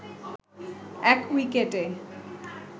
১ উইকেটে